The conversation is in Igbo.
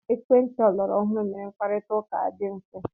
Ekwentị ọlọrọ ọhụrụ mere mkparita ụka adị mfe.